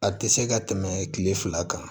A tɛ se ka tɛmɛ tile fila kan